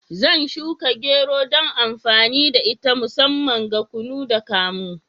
Zan shuka gero dan amfani da ita musamman ga kunu da kamu.